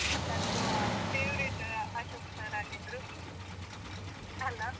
ನಂದೂ favourite Ashok sir ಆಗಿದ್ರು ಅಲಾ?